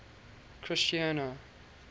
christiana